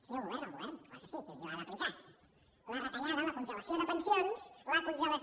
sí el govern el govern clar que sí qui l’ha d’aplicar la retallada la congelació de pensions la congelació